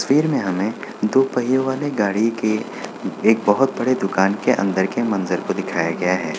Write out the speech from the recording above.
तस्वीर में हमें दो पहियों वाले गाड़ी के एक बहुत बड़े दुकान के अन्दर के मंजर को दिखाया गया है।